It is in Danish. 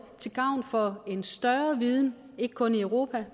til gavn for en større viden ikke kun hvad europa